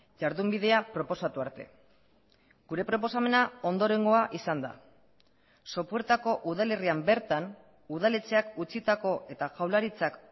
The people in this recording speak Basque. jardunbidea proposatu arte gure proposamena ondorengoa izan da sopuertako udalerrian bertan udaletxeak utzitako eta jaurlaritzak